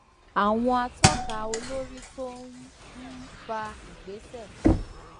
àwọn atọka olórí tó um ń fa ìgbésẹ